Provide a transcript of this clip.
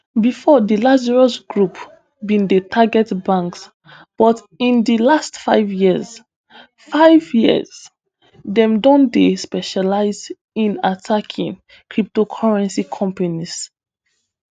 bifor di lazarus group bin dey target banks but in di last five years five years dem don dey specialise in attacking cryptocurrency companies